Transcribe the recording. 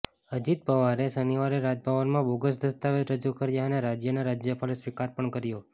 અજીત પવારે શનિવારે રાજભવનમાં બોગસ દસ્તાવેજ રજૂ કર્યા અને રાજ્યના રાજ્યપાલે સ્વીકાર પણ કર્યા